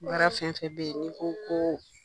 Baara fɛn o fɛn bɛ yen ni ko ko